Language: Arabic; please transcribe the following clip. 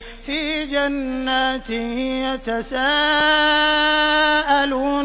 فِي جَنَّاتٍ يَتَسَاءَلُونَ